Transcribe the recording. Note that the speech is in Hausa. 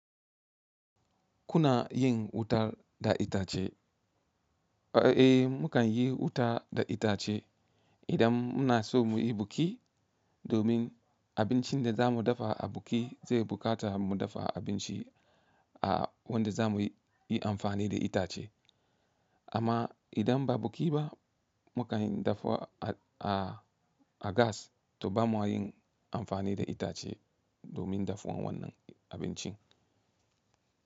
Kuna yin wutar da itace? Eh, mu kan yi wuta da itace idan muna so muyi buki domin abincin da za mu dafa a buki zai buƙata mu dafa abinci a wanda za mu yi amfani da itace. Amma idan ba buki ba, mu ka yin dafuwa a, a, a gas to ba mu yin amfani da itace domin dafuwan wannan abincin.